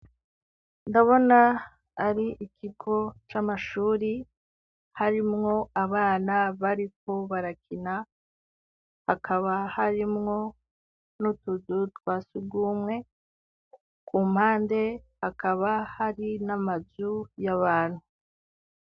Ndabona ari ikigo c'amashuri harimwo abana bariko barakina, hakaba harimwo n'utuzu twa sugumwe, kumpande hakaba hari n'amazu y'abantu.